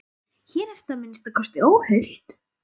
Hér ertu að minnsta kosti óhult.